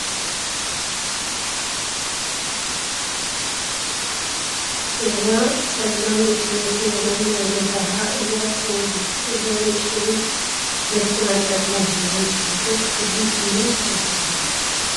እዛ ፀላም ንእሽተይ መኪና እዚኣ ናይ ገዛካ እያ ተትከውን ። እዛ ንእሽተይ መኪና ፀላም ሕብሪ ዝሓዘት ፍሉይ ሽማ እንታይ ትባሃል ?